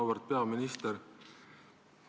Auväärt peaminister!